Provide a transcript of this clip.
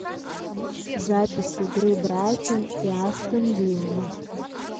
запись игры брайтон и астон вилла